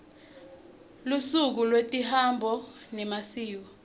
lusuku lwetemihambo nemasiko